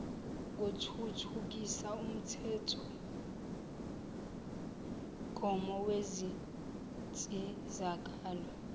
ngothuthukisa umthethomgomo wezinsizakalo